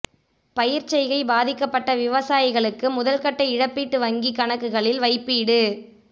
பயிர்ச்செய்கை பாதிக்கப்பட்ட விவசாயிகளுக்கு முதல் கட்ட இழப்பீட்டு வங்கிக் கணக்குகளில் வைப்பீடு